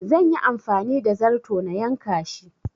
Zan yi amfani da zarto na yanka shi